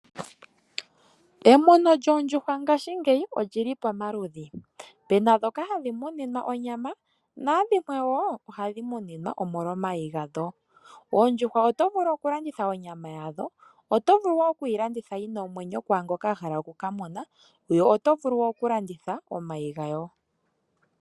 Emuno lyoondjuhwa ngashingeyi olili pomaludhi. Pena ndhoka hadhi muninwa onyama naadhimwe woo ohadhi muninwa omolwa omayi gadho. Oondjuhwa otovulu oku landitha onyama yadho , otovulu woo oku yilanditha yina omwenyo kwaangoka ahala oku kamuna yo otovulu okulanditha omayi gayo